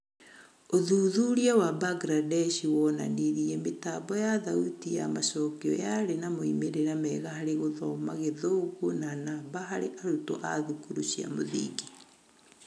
ũthuthuria wa Mbangirandesh wonanirie mĩtambo ya thauti ya macokio yarĩ na moimĩrĩra mega harĩ gũthoma githũngũ na namba harĩ arutwo a thukuru cia mũthingi.